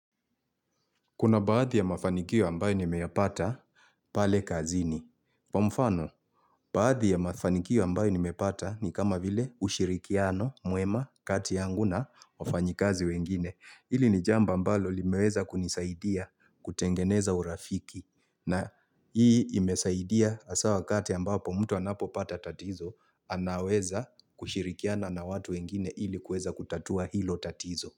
Kuna baadhi ya mafanikio ambayo nimeyapata pale kazini. Kwa mfano, baadhi ya mafanikio ambayo nimepata ni kama vile ushirikiano muema kati yangu na wafanyikazi wengine. Hili ni jambo ambalo limeweza kunisaidia kutengeneza urafiki. Na hii imesaidia hasa wakati ambapo mtu anapo pata tatizo, anaweza kushirikiana na watu wengine ili kuweza kutatua hilo tatizo.